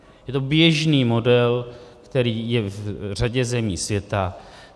Je to běžný model, který je v řadě zemí světa.